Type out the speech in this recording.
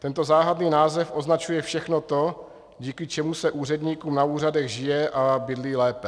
Tento záhadný název označuje všechno to, díky čemu se úředníkům na úřadech žije a bydlí lépe.